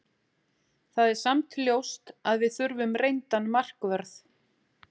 Það er samt ljóst að við þurfum reyndan markvörð.